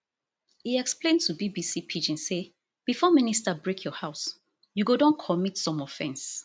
e explain to bbc pidgin say before minister break your house you go don commit some offence